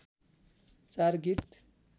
चार गीत